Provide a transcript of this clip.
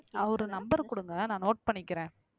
ஆஹ் அவரு number கொடுங்க நான் note பண்ணிக்கிறேன்